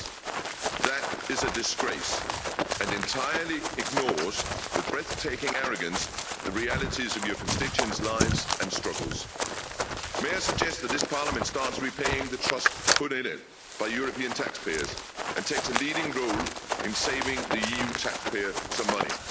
years. That is a disgrace and entirely ignores, with breathtaking arrogance, the realities of your constituents' lives and struggles. May I suggest that this Parliament starts repaying the trust put in it by European taxpayers and takes a leading role in saving the EU taxpayer some money?